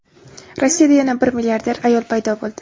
Rossiyada yana bir milliarder ayol paydo bo‘ldi.